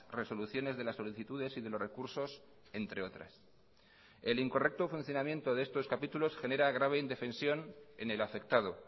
resoluciones de las solicitudes y de los recursos entre otras el incorrecto funcionamiento de estos capítulos genera grave indefensión en el afectado